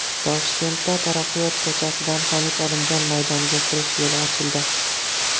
Toshkentda Taraqqiyot ko‘chasidan Hamid Olimjon maydoniga kirish yo‘li ochildi.